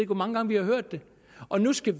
hvor mange gange vi har hørt det og nu skal